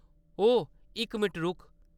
ओए, इक मिंट रुक।